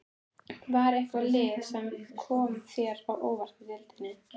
Var eitthvað lið sem kom þér á óvart í deildinni?